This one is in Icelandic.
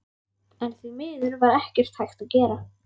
En því miður var ekkert hægt að gera.